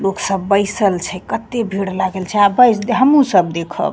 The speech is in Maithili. लोग सब बैसल छै कते भीड़ लागल छै आ बेस हमहुँ सब देखब।